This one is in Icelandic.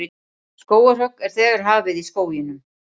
Skógarhögg er þegar hafið í skóginum